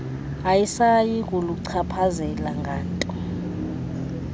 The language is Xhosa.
ayisayi kuluchaphazela nganto